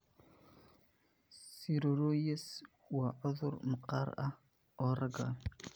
Siroriyas waa cudur maqaarka ah oo raaga.